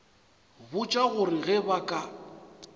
botša gore ge ba ka